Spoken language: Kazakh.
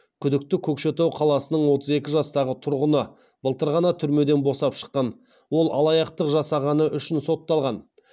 күдікті көкшетау қаласының отыз екі жастағы тұрғыны былтыр ғана түрмеден босап шыққан ол алаяқтық жасағаны үшін сотталған